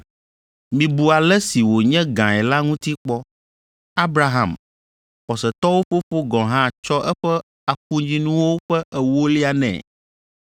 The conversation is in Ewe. Mibu ale si wònye gãe la ŋuti kpɔ. Abraham, xɔsetɔwo fofo gɔ̃ hã tsɔ eƒe afunyinuwo ƒe ewolia nɛ!